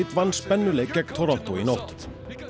vann spennuleik gegn Toronto í nótt